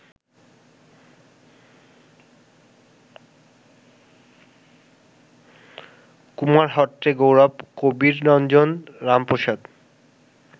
কুমারহট্টের গৌরব কবিরঞ্জন রামপ্রসাদ